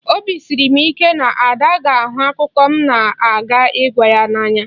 Obi siri m ike na Ada ga-ahụ akụkọ m na-aga ịgwa ya n'anya